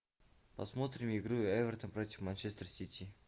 посмотрим игру эвертон против манчестер сити